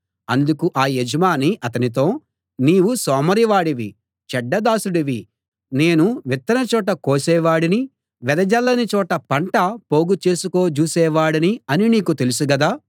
అందుకు ఆ యజమాని అతనితో నీవు సోమరివాడివి చెడ్డ దాసుడివి నేను విత్తని చోట కోసేవాడిని వెదజల్లని చోట పంట పోగుచేసుకో జూసేవాడిని అని నీకు తెలుసు గదా